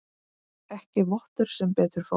Ekki vottur sem betur fór.